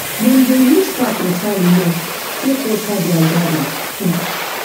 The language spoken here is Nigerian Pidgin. dem dey use pap water remain take water their garden um